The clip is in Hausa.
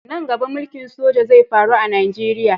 Nan gaba mulki'n soja zai faru a'Nijeriya.